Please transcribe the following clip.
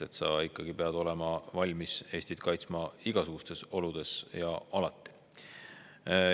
Tuleb ikkagi olla valmis Eestit kaitsma igasugustes oludes ja alati.